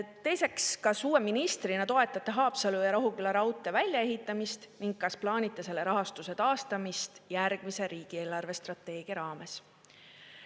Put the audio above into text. Teiseks: "Kas uue ministrina toetate Haapsalu ja Rohuküla raudtee väljaehitamist ning kas plaanite selle rahastuse taastamist järgmise riigi eelarvestrateegia raames?